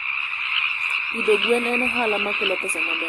Pidho gwen en ohala makelo pesa maber.